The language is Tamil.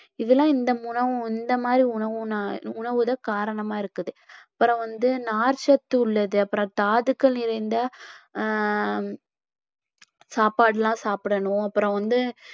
இதெல்லாம் இந்த உணவு இந்த மாதிரி உணவுன~ உணவுதான் காரணமா இருக்குது அப்புறம் வந்து நார்ச்சத்து உள்ளது, அப்புறம் தாதுக்கள் நிறைந்த ஆஹ் சாப்பாடுலாம் சாப்பிடணும் அப்புறம் வந்து